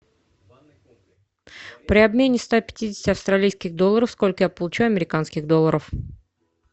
при обмене ста пятидесяти австралийских долларов сколько я получу американских долларов